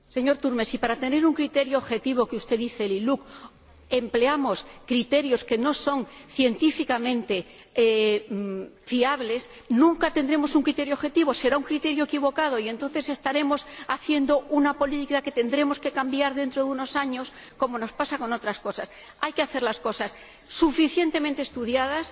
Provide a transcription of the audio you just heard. Señor Turmes, si para tener un criterio objetivo como el que usted menciona el ILUC empleamos criterios que no son científicamente fiables, nunca tendremos un criterio objetivo será un criterio equivocado y, entonces, estaremos haciendo una política que tendremos que cambiar dentro de unos años, como nos pasa con otras cosas. Las cosas han de estar suficientemente estudiadas